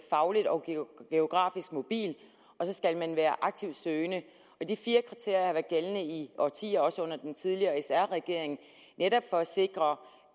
fagligt og geografisk mobil og så skal man være aktivt søgende de fire kriterier har været gældende i årtier også under den tidligere sr regering netop for at sikre